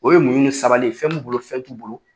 O ye munɲu ni sabali ye, fɛn b'u bolo fɛn t'u bolo